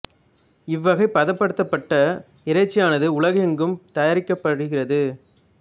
இவ்வகை பதப் படுத்தப் பட்ட இறைச்சியானது உலகம் எங்கும் தயாரிக்கப் படுகிறது